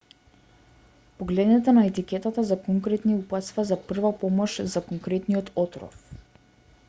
погледнете на етикетата за конкретни упатства за прва помош за конкретниот отров